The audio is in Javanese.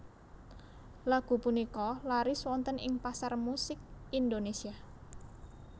Lagu punika laris wonten ing pasar musik Indonésia